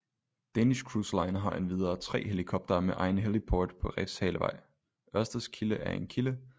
Danish cruise line har endvidere 3 helikoptere med egen heliport på refshalevejØrsteds kilde er en kilde